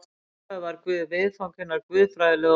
Í upphafi var Guð viðfang hinnar guðfræðilegu orðræðu.